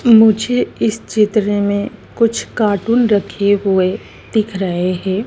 मुझे इस चित्र में कुछ कार्टून रखे हुए दिख रहे है।